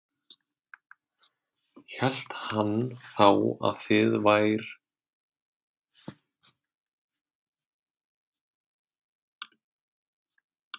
Hélt hann þá að þið vær